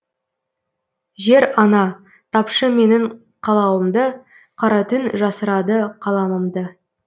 жер ана тапшы менің қалауымды қара түн жасырады қаламымды